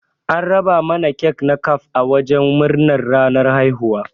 An raba mana kek na kwaf a wajen murnar ranan haihuwa.